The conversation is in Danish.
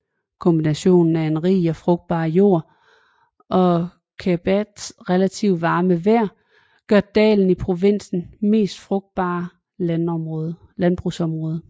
Kombinationen af en rig og frugtbar jord og Québecs relativt varme vejr gør dalen til provinsens mest frugtbare landbrugsområde